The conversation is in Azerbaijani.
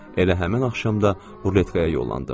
Elə həmin axşam da ruletkaya yollandım.